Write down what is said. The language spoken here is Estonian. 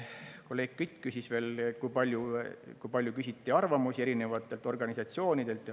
Kolleeg Kütt uuris veel, kui palju küsiti arvamusi erinevatelt organisatsioonidelt.